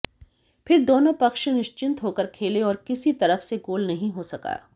फिर दोनों पक्ष निशिं्चत होकर खेले और किसी तरफ से गोल नहीं हो सका